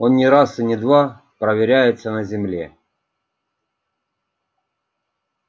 он не раз и не два проверяется на земле